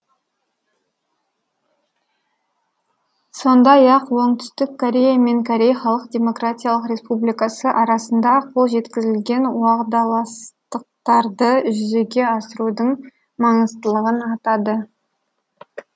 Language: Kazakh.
сондай ақ оңтүстік корея мен корей халық демократиялық республикасы арасында қол жеткізілген уағдаластықтарды жүзеге асырудың маңыздылығын атады